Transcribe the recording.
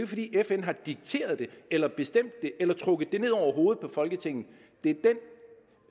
fordi fn har dikteret det eller bestemt det eller trukket det ned over hovedet på folketinget det